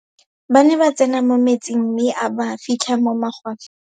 Ba ne ba tsene mo metsing mme a ba fitlha mo magwafeng.